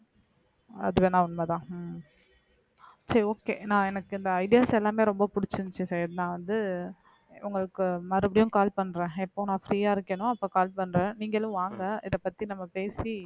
அது வேணா உண்மைதான் உம் சரி okay நான் எனக்கு இந்த ideas எல்லாமே ரொம்ப பிடிச்சிருந்துச்சு சையத் நான் வந்து உங்களுக்கு மறுபடியும் call பண்றேன் எப்போ நான் free ஆ இருக்கேனோ அப்ப call பண்றேன் நீங்களும் வாங்க இதை பத்தி நம்ம பேசி